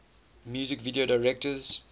music video directors